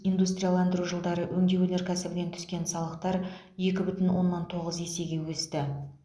индустрияландыру жылдары өңдеу өнеркәсібінен түскен салықтар екі бүтін оннан тоғыз есе өсті